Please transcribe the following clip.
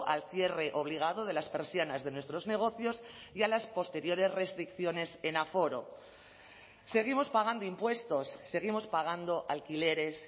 al cierre obligado de las persianas de nuestros negocios y a las posteriores restricciones en aforo seguimos pagando impuestos seguimos pagando alquileres